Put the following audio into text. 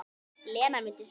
Lena mundi segja.